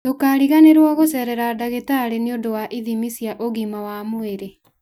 Ndũkariganĩrwo gũcerera ndagĩtarĩ nĩ ũndũ wa ithimi cia ũgima wa mwĩrĩ.